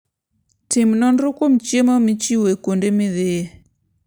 Tim nonro kuom chiemo michiwo kuonde midhiye.